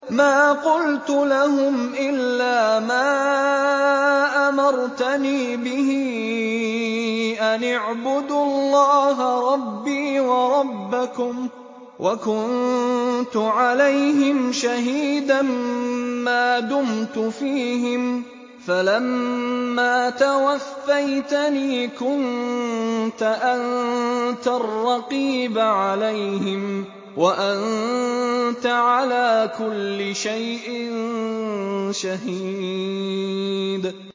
مَا قُلْتُ لَهُمْ إِلَّا مَا أَمَرْتَنِي بِهِ أَنِ اعْبُدُوا اللَّهَ رَبِّي وَرَبَّكُمْ ۚ وَكُنتُ عَلَيْهِمْ شَهِيدًا مَّا دُمْتُ فِيهِمْ ۖ فَلَمَّا تَوَفَّيْتَنِي كُنتَ أَنتَ الرَّقِيبَ عَلَيْهِمْ ۚ وَأَنتَ عَلَىٰ كُلِّ شَيْءٍ شَهِيدٌ